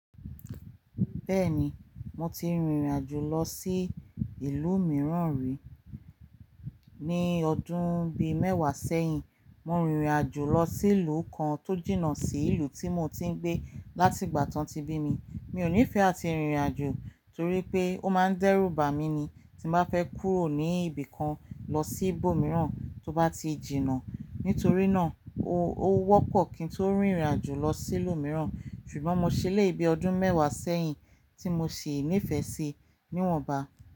Bẹ́ẹ̀ni, mo ti rìnrìn àjò lọ sí ìlú mìíràn rí. Ni ọdún bí mẹ́wàá sẹ́yìn, mo rìnrìn àjò lọ sí ìlú kan tó jìnnà sí ìlú tí mo ti ń gbé láti ìgbà tán ti bí mi. Mi ò nífẹ̀ẹ́ àti rìnrìn àjò torí pé ó máa ń dẹ́rùbà mi ni tí mo bá fẹ́ kúrò ní ibìkan lọ sí ibòmíràn tó bá ti jìnnà. Nítorí náà, ó wọ́pọ̀ kí n tó rìnrìn àjò lọ sí ìlú mìíràn ṣùgbọ́n mo ṣẹlẹ̀yi bi ọdún mẹ́wàá sẹ́yìn tí mo sì nífẹ̀ẹ́ sí níwọ̀nba.